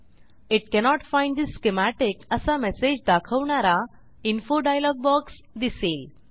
it cannot find the schematic असा message दाखवणारा info dialog box दिसेल